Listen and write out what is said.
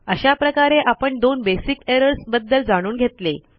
अशा प्रकारे आपण दोन बेसिक एरर्स बद्दल जाणून घेतले